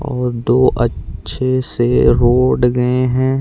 और दो अच्छे से रोड गए है।